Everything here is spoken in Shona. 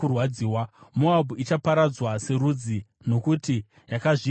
Moabhu ichaparadzwa serudzi nokuti yakazvidza Jehovha.